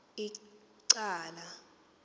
ecala